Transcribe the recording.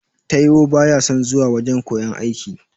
Taiwo baya son zuwa wajan koyan aiki.